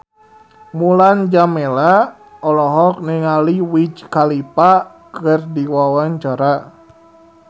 Mulan Jameela olohok ningali Wiz Khalifa keur diwawancara